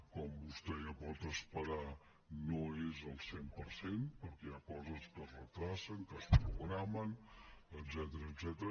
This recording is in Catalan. com vostè ja pot esperar no és el cent per cent perquè hi ha coses que es retarden que es programen etcètera